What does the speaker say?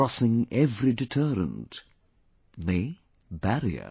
Crossing every deterrent; nay barrier